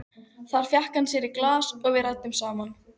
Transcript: Þar fékk hann sér í glas og við ræddum saman.